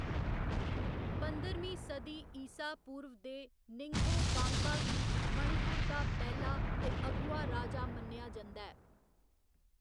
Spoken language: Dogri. पंदरमीं सदी ईसा पूर्व दे निंगथौ कांगबा गी मणिपुर दा पैह्‌‌ला ते अगुआ राजा मन्नेआ जंदा ऐ।